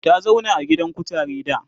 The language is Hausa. ta zauna a gidan kutare da